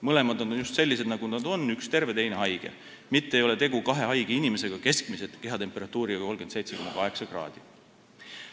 Mõlemad on just sellised, nagu nad on – üks terve, teine haige –, mitte ei ole tegu kahe haige inimesega keskmise kehatemperatuuriga 37,8 kraadi.